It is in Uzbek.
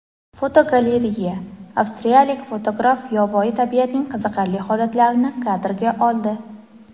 Fotogalereya: Avstriyalik fotograf yovvoyi tabiatning qiziqarli holatlarini kadrga oldi.